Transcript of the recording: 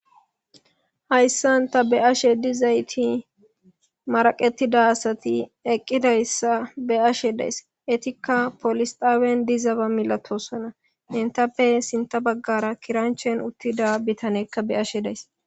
Hayssan tani be7ashe dizayti maraqetida asata be7ashe dayssi etika poolise xaaban dizayssa malatoosona etape sintta baggara kiranchchen uttida bitane be7ashe dayis.